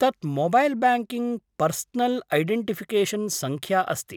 तत् mobile banking personal identification सङ्ख्या अस्ति।